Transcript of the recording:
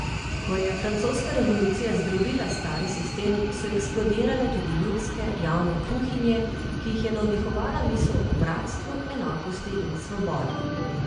Ko je francoska revolucija zdrobila stari sistem, so eksplodirale tudi ljudske, javne kuhinje, ki jih je navdihovala misel o bratstvu, enakosti in svobodi.